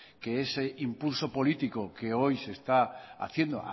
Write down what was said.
que ese impulso político que hoy se está haciendo